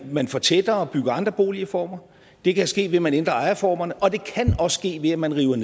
man fortætter og bygger andre boligformer det kan ske ved at man ændrer ejerformerne og det kan også ske ved at man river